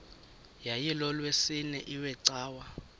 yayilolwesine iwe cawa